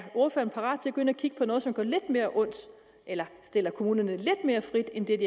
gå ind at kigge på noget som gør lidt mere ondt eller stiller kommunerne lidt mere frit end de er